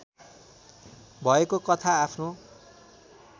भएको कथा आफ्नो